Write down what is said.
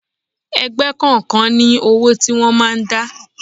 Ẹgbẹ́ kọ̀ọ̀kan ní owó tí wọ́n máa ń dá.